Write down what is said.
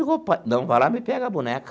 pai, não, vai lá e me pega a boneca.